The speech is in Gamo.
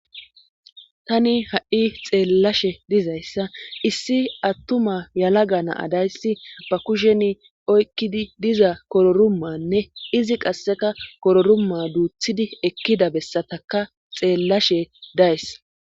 tani ha7i xeellashe dizayssa issi attuma yalaga naa dayssi apa kusheni oykkidi diza kororumanne izi qasseka kororumma duuthidi ekkida bessataka xeellashe days